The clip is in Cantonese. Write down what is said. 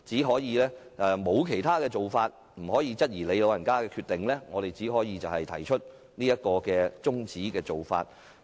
所以，在沒有其他做法，又不能質疑主席所作的決定，我們只能提出中止待續議案。